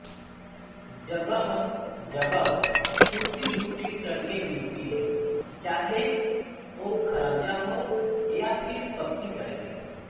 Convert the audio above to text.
जगहजगह टूटीफूटी सड़कें मिलती हैं चाहे वो खरंजा हो या फिर पक्की सड़कें